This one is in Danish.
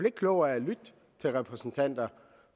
ikke klogere af at lytte til repræsentanter